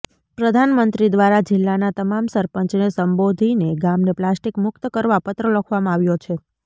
પ્રધાનમંત્રી દ્વારા જિલ્લાના તમામ સરપંચને સંબોધીને ગામને પ્લાસ્ટિક મુકત કરવા પત્ર લખવામાં આવ્યો છે